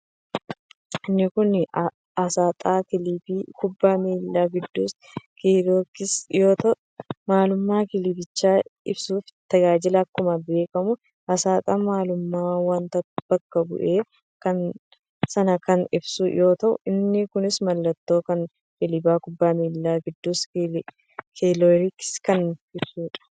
Inni kun aasxaa kilabii kubbaa miilaa qiddus-giyoorgis yoo ta'u maalummaa kilabichaa ibsuuf tajaajila. Akkuma beekkamu aasxaan maalummaa wonta bakka bu'ee san kan ibsu yoo ta'u inni kunis mallattoo kan kilaba kubbaa miilaa qiddus-giyoorgis kan ibsuudha.